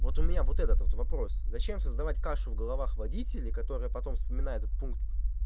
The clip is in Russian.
вот у меня вот этот вот вопрос зачем создавать кашу в головах водителей которые потом вспоминают этот пункт